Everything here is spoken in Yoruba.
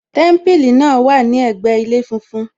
Témípìlì náà wà lẹgbẹ ilé funfun